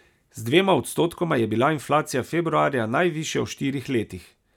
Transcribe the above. Z dvema odstotkoma je bila inflacija februarja najvišja v štirih letih.